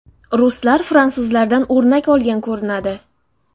Ruslar fransuzlardan o‘rnak olgan ko‘rinadi.